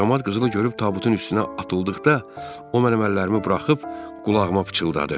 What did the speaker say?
Camaat qızılı görüb tabutun üstünə atıldıqda, o mənim əllərimi buraxıb qulağıma pıçıldadı.